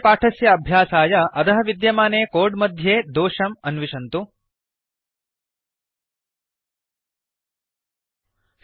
अस्य पाठस्य अभ्यासाय अधः विद्यमाने कोड् मध्ये दोषम् अन्विश्यताम्